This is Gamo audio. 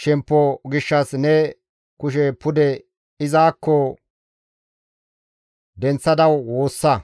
shemppo gishshas ne kushe pude izakko denththada woossa.